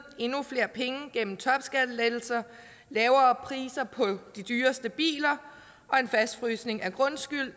endnu flere penge igennem topskattelettelser lavere priser på de dyreste biler og en fastfrysning af grundskylden